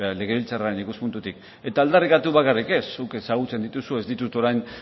legebiltzarraren ikuspuntutik eta aldarrikatu bakarrik ez zuk ezagutzen dituzu ez ditut orain